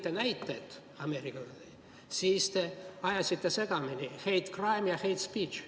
Ja kui te Ameerika kohta näiteid tõite, siis te ajasite segamini hate crime'i ja hate speech'i.